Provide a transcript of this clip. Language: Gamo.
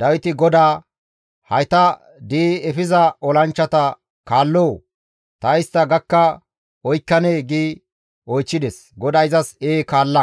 Dawiti GODAA, «Hayta di7i efiza olanchchata kaalloo? Ta istta gakka oykkanee?» gi oychchides. GODAY izas, «Ee kaalla!